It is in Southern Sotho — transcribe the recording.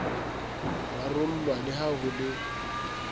rarollwa le ha ho le